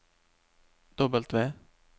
W